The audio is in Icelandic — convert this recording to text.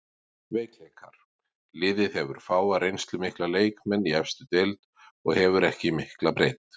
Veikleikar: Liðið hefur fáa reynslumikla leikmenn í efstu deild og hefur ekki mikla breidd.